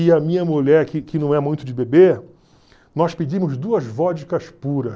E a minha mulher, que que não é muito de beber, nós pedimos duas vodkas puras.